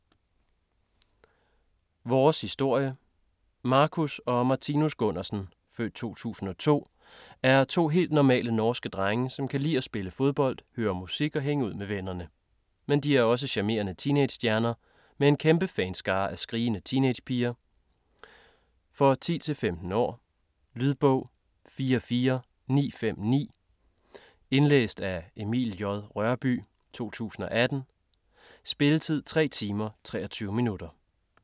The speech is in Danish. Vores historie Marcus og Martinus Gunnarsen (f. 2002) er to helt normale norske drenge, som kan lide at spille fodbold, høre musik og hænge ud med vennerne. Men de er også charmerende teenagestjerner med en kæmpe fanskare af skrigende teenagepiger. For 10-15 år. Lydbog 44959 Indlæst af Emil J. Rørbye, 2018. Spilletid: 3 timer, 23 minutter.